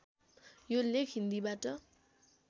यो लेख हिन्दीबाट